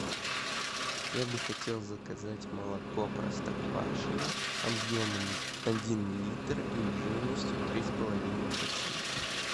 я бы хотел заказать молоко простоквашино объемом один литр и жирностью три с половиной процента